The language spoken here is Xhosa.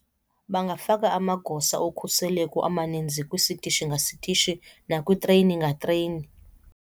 Bangafaka amagosa okhuseleko amaninzi kwistishi ngasitishi nakwitreyini ngatreyini.